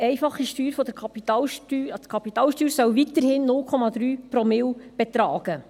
Die Kapitalsteuer soll weiterhin 0,3 Promille betragen.